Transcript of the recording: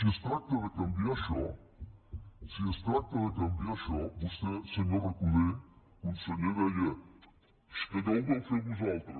i si es tracta de canviar això si es tracta de canviar això vostè senyor recoder conseller deia és que allò ho vau fer vosaltres